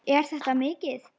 Er þetta mikið?